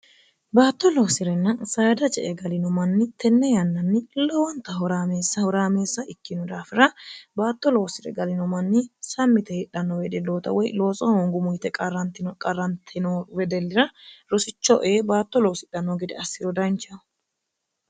baatto loosi'renna saada je e galino manni tenne yannanni lowonta huraameessa huraameessa ikkino daafira baatto loosi're galino manni sammite hiidhanno wedilloota woy lootso hoongumu yite qarrantino qarrantino wedellira rosicho ee baatto loosidhanno gede assiro dancheho